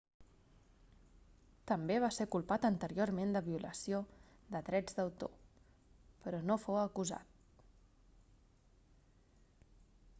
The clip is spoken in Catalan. també va ser culpat anteriorment de violació de drets d'autor però no fou acusat